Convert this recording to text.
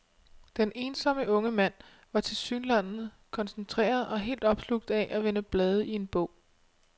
Den ensomme unge mand var tilsyneladende koncentreret og helt opslugt af at vende blade i en bog.